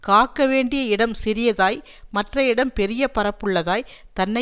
காக்க வேண்டிய இடம் சிறியதாய் மற்ற இடம் பெரிய பரப்புள்ளதாய் தன்னை